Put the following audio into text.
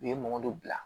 U ye mɔgɔ dɔ bila